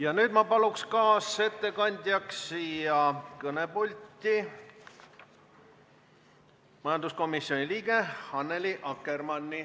Ja nüüd ma palun kaasettekandjaks siia kõnepulti majanduskomisjoni liikme Annely Akkermanni.